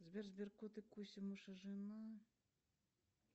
сбер сбер кут и куся муж и жена